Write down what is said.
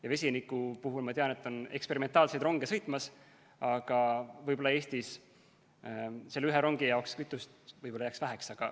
Ja vesiniku puhul ma tean, et sõidab ringi eksperimentaalseid ronge, aga võib-olla Eestis jääks selle ühe rongi jaoks kütust väheks.